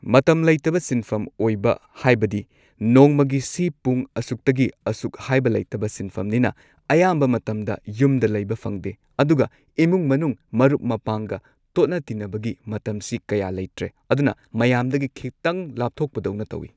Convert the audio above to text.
ꯃꯇꯝ ꯂꯩꯇꯕ ꯁꯤꯟꯐꯝ ꯑꯣꯏꯕ ꯍꯥꯏꯕꯗꯤ ꯅꯣꯡꯃꯒꯤ ꯁꯤ ꯄꯨꯡ ꯑꯁꯨꯛꯇꯒꯤ ꯑꯁꯨꯛ ꯍꯥꯏꯕ ꯂꯩꯇꯕ ꯁꯤꯟꯐꯝꯅꯤꯅ ꯑꯌꯥꯝꯕ ꯃꯇꯝꯗ ꯌꯨꯝꯗ ꯂꯩꯕꯃ ꯐꯪꯗꯦ ꯑꯗꯨꯒ ꯏꯃꯨꯡ ꯃꯅꯨꯡ ꯃꯔꯨꯞ ꯃꯄꯥꯡꯒ ꯇꯣꯠꯅ ꯇꯤꯟꯅꯕꯒꯤ ꯃꯇꯝꯁꯤ ꯀꯌꯥ ꯂꯩꯇ꯭ꯔꯦ ꯑꯗꯨꯅ ꯃꯌꯥꯝꯗꯒꯤ ꯈꯤꯇꯪ ꯂꯥꯞꯊꯣꯛꯄꯗꯧꯅ ꯇꯧꯏ꯫